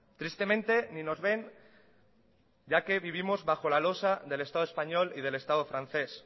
tristemente ni nos ven ya que vivimos bajo la losa del estado español y del estado francés